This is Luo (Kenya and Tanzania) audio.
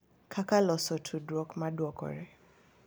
Kaka loso tudruok ma dwokore.